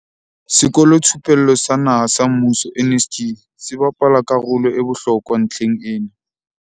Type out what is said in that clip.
Sekolothupello sa Naha sa Mmuso, NSG, se bapala ka rolo e bohlokwa ntlheng ena.